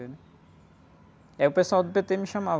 E aí o pessoal do pê-tê me chamava.